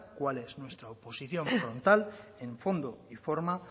cuál es nuestra oposición frontal en fondo y forma